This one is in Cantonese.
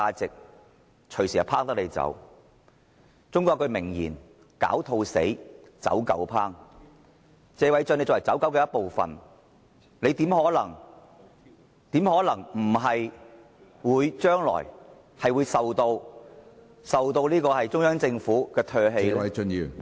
中國有一句名言："狡兔死，走狗烹"，謝偉俊議員作為"走狗"的一部分，他又怎可能避免在將來被中央政府唾棄呢？